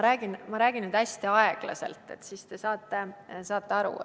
Teiseks, ma räägin nüüd hästi aeglaselt, siis te saate aru.